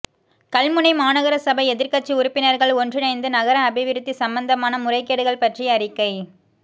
கல்முனை மாநகரசபை எதிர்க்கட்சி உறுப்பினர்கள் ஒன்றிணைந்து நகர அபிவிருத்தி சம்பந்தமான முறைகேடுகள் பற்றி அறிக்கை